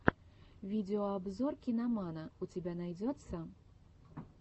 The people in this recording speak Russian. видеообзор киномана у тебя найдется